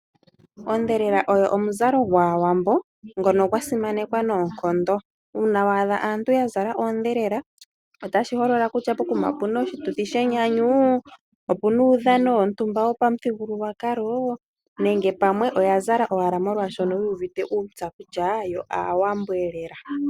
Ondhelela oyo omuzalo gwaawambo ngono gwa simanekwa noonkondo. Uuna wa adha aantu ya zala oondhelela, otashi holola kutya pokuma opuna oshituthi shenyanyu, opuna uudhano wontumba wopamuthigululwakalo nenge pamwe oya zala owala molwaashono yu uvite uuntsa kutya, yo aawambo elela.